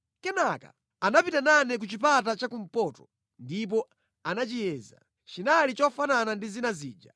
Kenaka anapita nane ku chipata chakumpoto ndipo anachiyeza. Chinali chofanana ndi zina zija.